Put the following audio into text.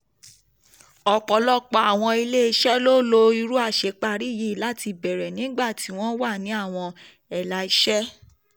ọ̀pọ̀lọpọ̀ àwọn ilé-iṣẹ́ lo irú àṣeparí yìí láti bẹ̀rẹ̀ nígbà tí ó ń wá àwọn ẹ̀là iṣẹ́.